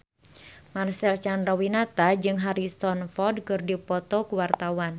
Marcel Chandrawinata jeung Harrison Ford keur dipoto ku wartawan